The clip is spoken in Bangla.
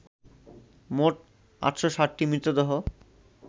মোট ৮০৭টি মৃতদেহ